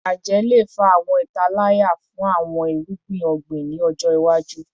Ajẹ le fa awọn italaya fun awọn irugbin ogbin ni ọjọ iwaju